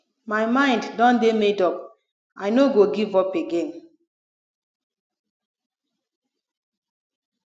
my mind don dey made up i no go give up again